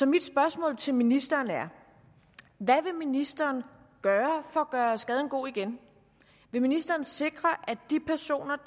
mit spørgsmål til ministeren er hvad vil ministeren gøre for at gøre skaden god igen vil ministeren sikre at de personer